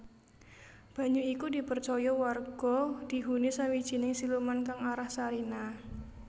Banyu iku dipercaya warga dihuni sawijining siluman kang aran Sarinah